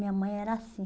Minha mãe era assim.